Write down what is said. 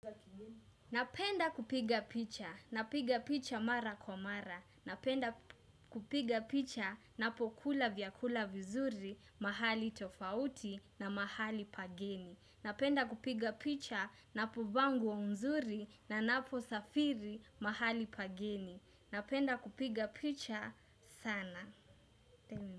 Napenda kupiga picha, napiga picha mara kwa mara, napenda kupiga picha napokula vyakula vizuri mahali tofauti na mahali pageni napenda kupiga picha napovaa nguo nzuri na naposafiri mahali pageni napenda kupiga picha sana.